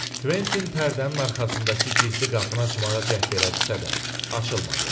Kventin pərdənin arxasındakı gizli qapını açmağa cəhd elədisə də, açılmadı.